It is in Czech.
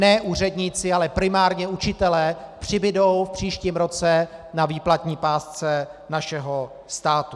Ne úředníci, ale primárně učitelé přibudou v příštím roce na výplatní pásce našeho státu.